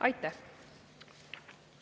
Aitäh!